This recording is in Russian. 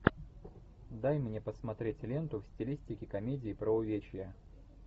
дай мне посмотреть ленту в стилистике комедии про увечья